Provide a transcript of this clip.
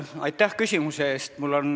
Aitäh küsimuse eest!